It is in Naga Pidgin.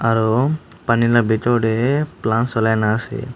aro Pani la bhitor tae plants olai naase.